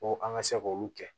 Ko an ka se k'olu kɛ